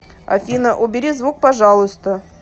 афина убери звук пожалуйста